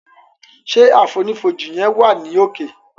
Ṣe àfonífojì yen wa ni òkè.